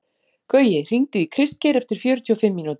Gaui, hringdu í Kristgeir eftir fjörutíu og fimm mínútur.